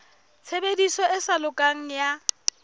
tshebediso e sa lokang ya